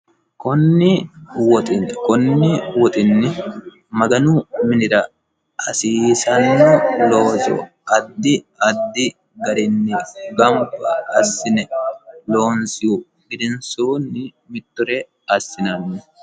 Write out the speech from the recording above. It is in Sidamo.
konni woxinni konni woxinni maganu minira hasiissanno looso addi addi garinni gamba assine loonsihu gedensoonni mittore assinanni.